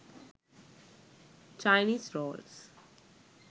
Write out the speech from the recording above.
chinese rolls